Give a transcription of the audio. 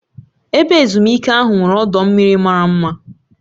Ebe ezumike ahụ nwere ọdọ mmiri mara mma.